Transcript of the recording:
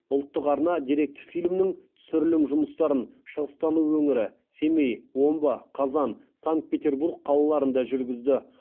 ұлттық арна деректі фильмнің түсірім жұмыстарын шыңғыстау өңірі семей омбы қазан санкт петербург қалаларында жүргізді